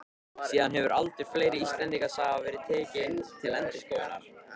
Síðan hefur aldur fleiri Íslendingasagna verið tekinn til endurskoðunar.